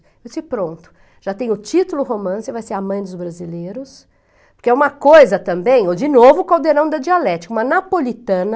Eu disse, pronto, já tem o título romance, vai ser a mãe dos brasileiros, porque é uma coisa também, eu de novo, o caldeirão da dialética, uma napolitana,